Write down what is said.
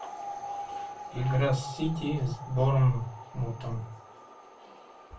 игра сити с борнмутом